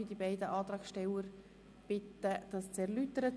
Ich bitte die Antragsteller, ihre Anträge zu erläutern.